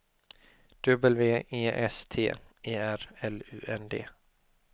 W E S T E R L U N D